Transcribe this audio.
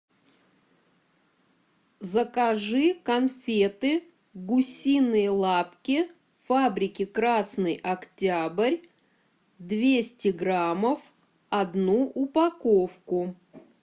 закажи конфеты гусиные лапки фабрики красный октябрь двести граммов одну упаковку